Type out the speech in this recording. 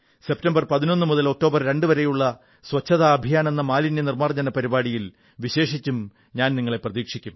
September 11 മുതൽ October 2 വരെയുള്ള സ്വച്ഛതാ അഭിയാനെന്ന മാലിന്യനിർമ്മാർജ്ജന പരിപാടിയിൽ വിശേഷിച്ചും